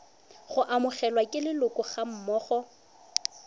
go amogelwa ke leloko gammogo